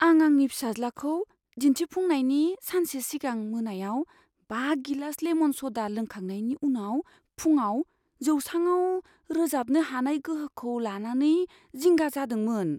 आं आंनि फिसाज्लाखौ दिन्थिफुंनायनि सानसे सिगां मोनायाव बा गिलास लेमन स'डा लोंखांनायनि उनाव फुंआव जौसाङाव रोजाबनो हानाय गोहोखौ लानानै जिंगा जादोंमोन।